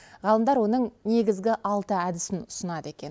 ғалымдар оның негізгі алты әдісін ұсынады екен